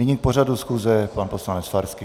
Nyní k pořadu schůze pan poslanec Farský.